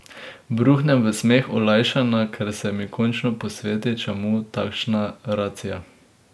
Bruhnem v smeh, olajšana, ker se mi končno posveti, čemu takšna racija.